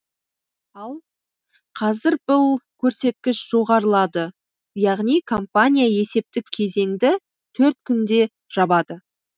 ал қазір бұл көрсеткіш жоғарылады яғни компания есептік кезеңді төрт күнде жабады